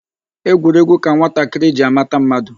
Egwuregwu ka nwatakịrị ji amata mmadụ.